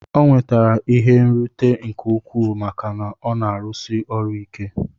O nwetere ihe nrute nke ukwu maka na ọna arụsi ọrụ ike.